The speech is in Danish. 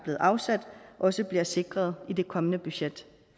været afsat også bliver sikret i det kommende budget